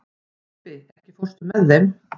Bambi, ekki fórstu með þeim?